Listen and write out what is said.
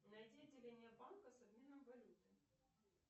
найди отделение банка с обменом валюты